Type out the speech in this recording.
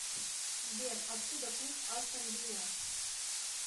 сбер откуда клуб астон вилла